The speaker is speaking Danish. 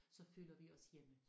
Så føler vi os hjemme